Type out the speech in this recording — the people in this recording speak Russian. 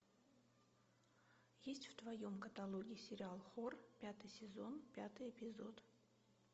есть в твоем каталоге сериал хор пятый сезон пятый эпизод